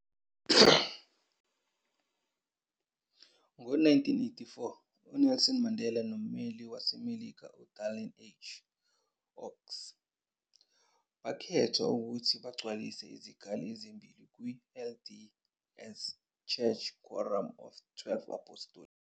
Ngo-1984, uNelson kanye nommeli waseMelika uDallin H. Oaks bakhethwa ukuthi bagcwalise izikhala ezimbili kwi-LDS Church's Quorum of the Twelve Apostles.